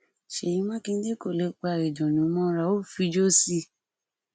ṣèyí mákindé kò lè pa ìdùnnú mọra ó fi ijó sí i